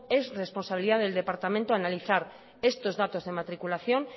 es responsabilidad del departamento analizar estos datos de matriculación